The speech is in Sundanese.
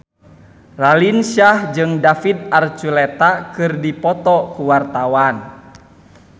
Raline Shah jeung David Archuletta keur dipoto ku wartawan